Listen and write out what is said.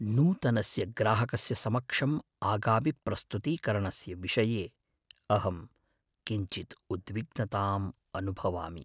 नूतनस्य ग्राहकस्य समक्षम् आगामिप्रस्तुतीकरणस्य विषये अहं किञ्चिद् उद्विग्नताम् अनुभवामि।